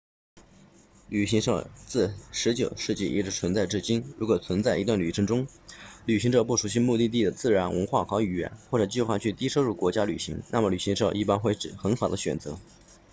旅行社自19世纪一直存在至今如果在一段旅程中旅行者不熟悉目的地的自然文化和语言或者计划去低收入国家旅行那么旅行社一般会是很好的选择